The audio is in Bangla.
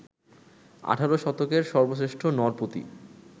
আঠারো শতকের সর্বশ্রেষ্ঠ নরপতি